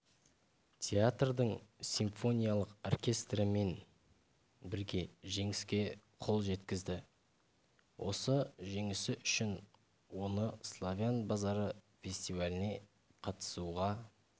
театрдың симфониялық оркестрімен бірге жеңіске қол жеткізді осы жеңісі үшін оны славян базары фестиваліне қатысуға